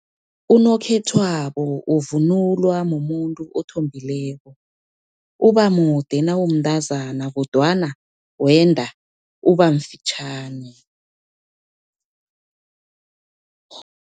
Unokhethwabo okuvunulwa mumuntu othombileko, ubamude nawumntazana, kodwana wenda ubamfitjhani.